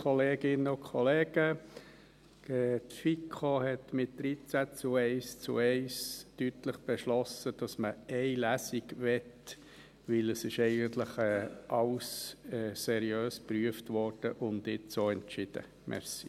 Die FiKo hat mit 13 zu 1 zu 1 deutlich beschlossen, dass man eine Lesung möchte, weil eigentlich alles seriös geprüft und jetzt auch entschieden wurde.